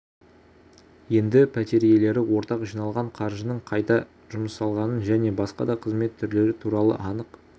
енді пәтер иелері ортақ жиналған қаржының қайда жұмсалғанын және басқа да қызмет түрлері туралы анық